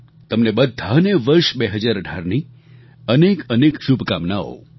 તમને બધાને વર્ષ 2018ની અનેકઅનેક શુભકામનાઓ